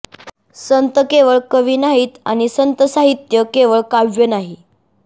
संत केवळ कवी नाहीत आणि संतसाहित्य केवळ काव्य नाही